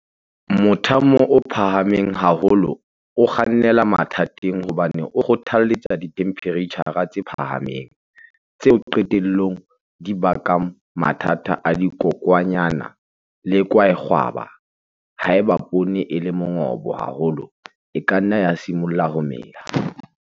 Mothamo o phahameng haholo o kgannela mathateng hobane o kgothaletsa dithemphereitjhara tse phahameng, tseo qetellong di bakang mathata a dikokwanyana le kwaekgwaba. Haeba poone e le mongobo haholo e ka nna ya simolla ho mela.